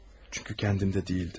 Çünki özümdə deyildim.